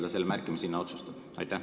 Kes selle hinna otsustab?